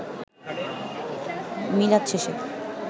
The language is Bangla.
মিলাদ শেষে